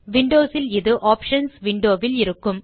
Windows இல் இது options window வில் இருக்கும்